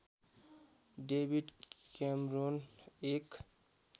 David Cameron एक